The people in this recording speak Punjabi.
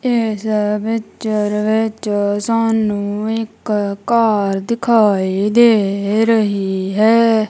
ਇਸ ਪਿਚਰ ਵਿੱਚ ਸਾਨੂੰ ਇੱਕ ਕਾਰ ਦਿਖਾਈ ਦੇ ਰਹੀ ਹੈ।